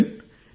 captain